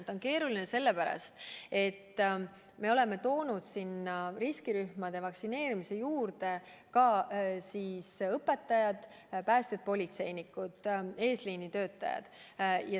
See on keeruline sellepärast, et me oleme lisanud riskirühmade vaktsineerimisse ka õpetajad, päästjad, politseinikud, eesliini töötajad.